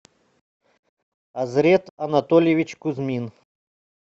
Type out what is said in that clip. азрет анатольевич кузьмин